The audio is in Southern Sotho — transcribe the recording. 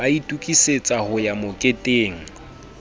ba itokisetsa ho ya moketeng